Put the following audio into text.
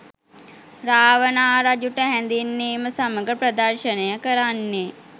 රාවණා රජුට හැඳින්වීම සමඟ ප්‍රදර්ශනය කරන්නේ